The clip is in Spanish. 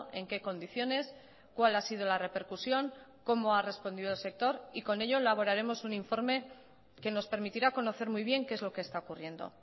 en qué condiciones cuál ha sido la repercusión cómo ha respondido el sector y con ello elaboraremos un informe que nos permitirá conocer muy bien qué es lo que está ocurriendo